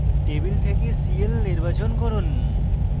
table থেকে cl নির্বাচন করুন